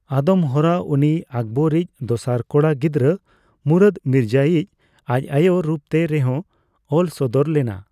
ᱟᱫᱚᱢ ᱦᱚᱨᱟ ᱩᱱᱤ ᱟᱠᱵᱚᱨ ᱨᱤᱡ ᱫᱚᱥᱟᱨ ᱠᱚᱲᱟ ᱜᱤᱫᱽᱨᱟᱹ ᱢᱩᱨᱟᱫ ᱢᱤᱨᱡᱟ ᱭᱤᱡ ᱟᱡ ᱟᱭᱳ ᱨᱩᱯᱛᱮ ᱨᱮ ᱦᱚᱸ ᱚᱞ ᱥᱚᱫᱚᱨ ᱞᱮᱱᱟ᱾